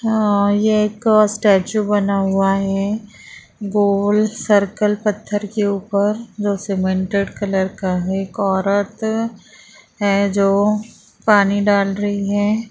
ये एक स्टेचू बना हुआ है गोल सर्कल पत्थर के ऊपर जो सीमेंटेड कलर का है एक औरत है जो पानी डाल रही हैं |